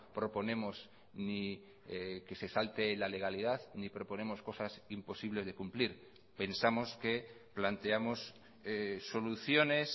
proponemos ni que se salte la legalidad ni proponemos cosas imposibles de cumplir pensamos que planteamos soluciones